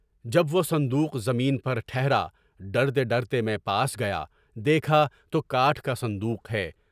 جب وہ صندوق زمین پر ٹھہرا، ڈرتے ڈرتے میں پاس گیا، دیکھا! تو یہ کاٹھ کا صندوق ہے۔